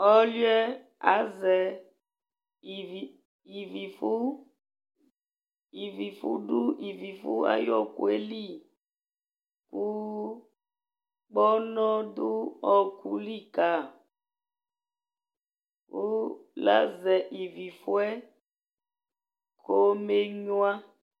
Ɔlʋɩɛ azɛ ivifʋ ,ivifʋ dʋ ivifʋ ay'ɔɔkʋɛ li Kʋ kpọnɔ dʋ ọɔkʋ li ka , lazɛ ivifʋ yɛ kome nyuǝ